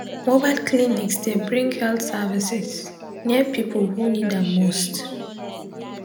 mobile clinics dey bring health services near people who need am most.